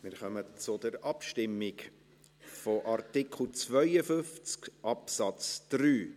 Wir kommen zur Abstimmung zu Artikel 52 Absatz 3.